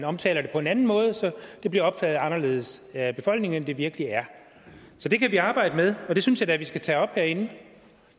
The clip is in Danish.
omtale dem på en anden måde de bliver opfattet anderledes af befolkningen end de virkelig er så det kan vi arbejde med og det synes jeg da vi skal tage op herinde